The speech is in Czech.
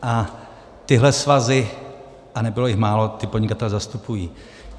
A tyhle svazy, a nebylo jich málo, ty podnikatele zastupují.